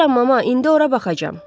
Gedirəm mama, indi ora baxacağam.